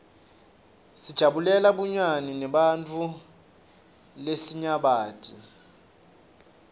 sijabulela bunyani neebantfu lesinyabati